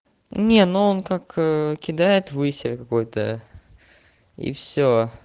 не ну он как кидает высер какой-то и всё